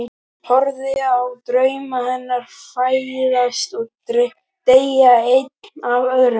Horfi á drauma hennar fæðast og deyja einn af öðrum.